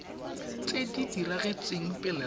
tse di diragetseng pele ga